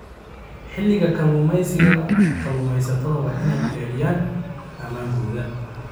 Xilliga kalluumeysiga, kalluumeysatada waa inay xaqiijiyaan ammaankooda.